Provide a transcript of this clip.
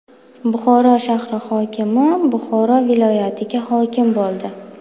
Buxoro shahri hokimi Buxoro viloyatiga hokim bo‘ldi.